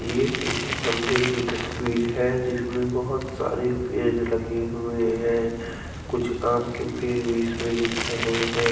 ये किसी मंदिर की तस्वीर है जिसमें बहुत सारे पेड़ लगे हुए हैं कुछ आम के पेड़ भी इसमें दिख रहे हैं।